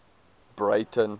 breyten